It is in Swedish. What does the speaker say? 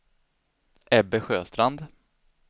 Ebbe Sjöstrand